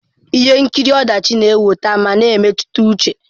Ihe nkiri ọdachi na-ewute ma na emetụta uche.